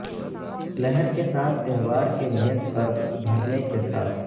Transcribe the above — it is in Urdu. لہر کے ساتھ تہوار کے میز پر بھرنے کے ساتھ